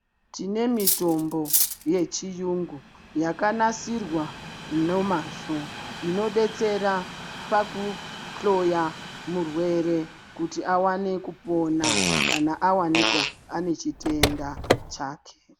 Tine mitombo yechiyungu yakanasirwa nomazvo. Inobetsera pakuhloya murwere kuti avane kupona, kana avanikwa anechitenda chake.